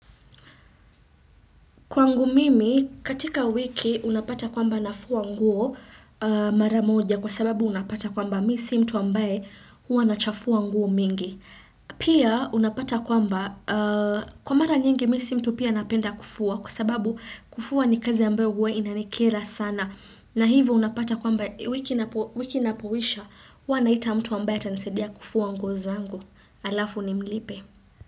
Kwangu mimi, katika wiki, unapata kwamba nafua nguo mara moja kwa sababu unapata kwamba mi si mtu ambaye huwa nachafua nguo mingi. Pia unapata kwamba, kwa mara nyingi mi si mtu pia napenda kufua kwa sababu kufua ni kazi ambayo huwa inanikera sana. Na hivo unapata kwamba wiki napoisha huwa naita mtu ambaye atanisaidia kufua nguo zangu alafu nimlipe.